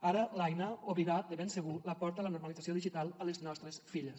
ara l’aina obrirà de ben segur la porta a la normalització digital a les nostres filles